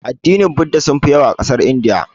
Addinin budda sunfi yawa a ƙasar Indiya.